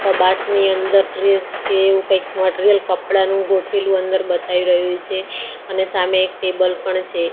કબાટની અંદર ડ્રેસ કે એવુ કઈક મટીરીયલ કડપાનું ગોઠેલું અંદર બતાય રહ્યુ છે અને સામે એક ટેબલ પણ છે.